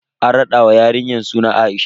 An raɗa wa yarinya suna A'isha.